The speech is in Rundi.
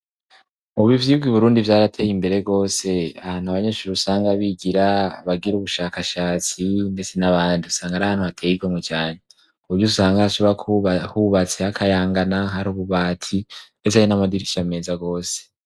Ubu u bivyirwa i Burundi vyarateye imbere rwose ahantu abanyeshuri usanga bigira bagira ubushakashatsi ndetse n'abandi usanga ari hantu hateye igomwe cane kuburyo usanga ashobora kubatse hakayangana hari ububati ndetse ari n'amadirisha meza rwose.